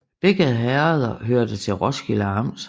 Begge herreder hørte til Roskilde Amt